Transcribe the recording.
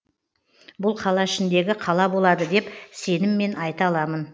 бұл қала ішіндегі қала болады деп сеніммен айта аламын